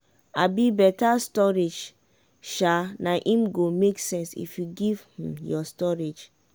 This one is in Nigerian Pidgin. um beta storage um na im go make sense give dat um your harvest.